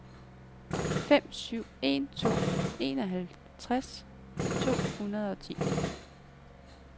fem syv en to enoghalvtreds to hundrede og ti